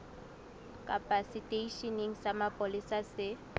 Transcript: kapa seteisheneng sa mapolesa se